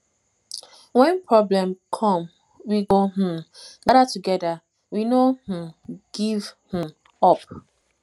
wen problem come we go um gada togeda we no um give um up